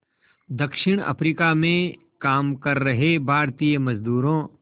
दक्षिण अफ्रीका में काम कर रहे भारतीय मज़दूरों